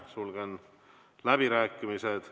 Sulgen läbirääkimised.